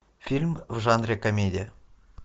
фильм в жанре комедия